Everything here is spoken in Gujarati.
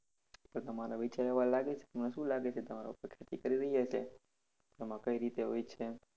તો તમારા વિચાર એવા લાગે છે કે તમને શું લાગે છે? કે તમારે ખેતી કરવી જોઈએ કે એમાં કઈ રીતે હોય છે એમ?